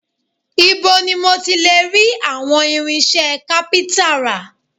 Ibo ni mo ti lè rí àwọn irinṣẹ́ kápíntà rà?